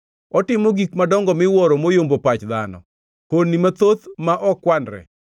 Otimo gik madongo miwuoro mayombo pach dhano, honni mathoth ma ok kwanre.